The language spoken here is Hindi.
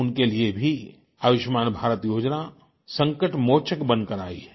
उनके लिए भी आयुष्मान भारत योजना संकटमोचक बनकर आई है